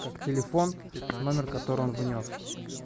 как телефон номер который внёс